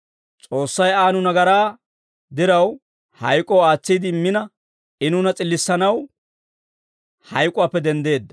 S'oossay Aa nu nagaraa diraw, hayk'oo aatsiide immina, I nuuna s'illissanaw hayk'uwaappe denddeedda.